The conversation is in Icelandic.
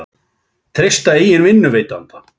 Treysta eigin vinnuveitanda